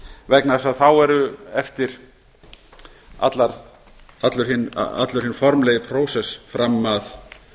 vegna þess að þá er eftir allur hinn formlegi prósess fram að